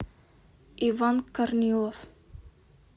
иван корнилов